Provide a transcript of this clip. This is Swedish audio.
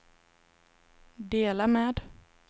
dela med